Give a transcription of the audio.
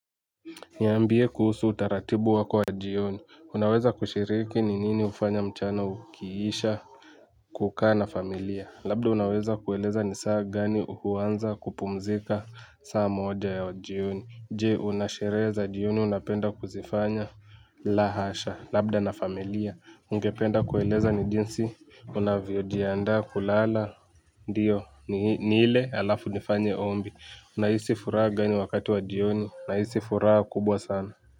Niambie kuhusu utaratibu wako wa jioni unaweza kushiriki ni nini hufanya mchana ukiisha kukaa na familia labda unaweza kueleza ni saa gani huanza kupumzika saa moja ya wa jioni jee una sherehe za jioni unapenda kuzifanya la hasha labda na familia ungependa kueleza ni jinsi unavyojiandaa kulala. Ndiyo nile alafu nifanye ombi. Unahisi furaha gani wakati wa jioni nahisi furaha kubwa sana.